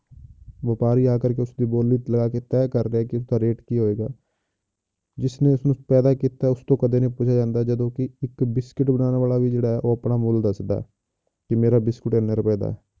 ਵਾਪਾਰੀ ਆ ਕਰਕੇ ਉਸਦੀ ਬੋਲੀ ਲਗਾ ਕੇ ਤਹਿ ਕਰਦਾ ਹੈ ਇਸਦਾ rate ਕੀ ਹੋਏਗਾ ਜਿਸਨੇ ਇਸਨੂੰ ਪੈਦਾ ਕੀਤਾ ਉਸ ਤੋਂ ਕਦੇ ਨੀ ਪੁੱਛਿਆ ਜਾਂਦਾ, ਜਦੋਂ ਕਿ ਇੱਕ ਬਿਸਕਿਟ ਬਣਾਉਣ ਵਾਲਾ ਵੀ ਜਿਹੜਾ ਹੈ, ਉਹ ਆਪਣਾ ਮੁੱਲ ਦੱਸਦਾ ਹੈ ਕਿ ਮੇਰਾ ਬਿਸਕੁਟ ਇੰਨੇ ਰੁਪਏ ਦਾ ਹੈ।